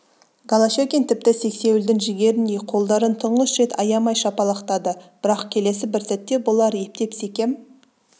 голощекин тіпті сексеуілдің жігеріндей қолдарын тұңғыш рет аямай шапалақтады бірақ келесі бір сәтте бұлар ептеп секем